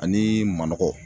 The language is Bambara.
Ani manɔgɔ